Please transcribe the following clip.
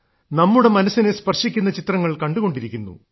നമ്മുടെ മനസ്സിനെ സ്പർശിക്കുന്ന ചിത്രങ്ങൾ കണ്ടുകൊണ്ടിരിക്കുന്നു